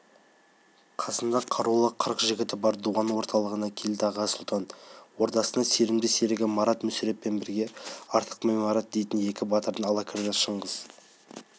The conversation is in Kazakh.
қасында қарулы қырық жігіті бар дуан орталығына келді аға сұлтан ордасына сенімді серігі марат мүсіреппен бірге артықбай марат дейтін екі батырын ала кірді шыңғыс